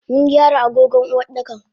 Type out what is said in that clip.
Mungyara agogon Uwardakan.